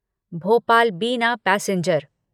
भोपाल बिना पैसेंजर